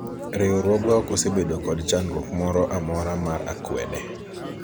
riwruogwa ok osebedo kod chandruok moro amora mar akwede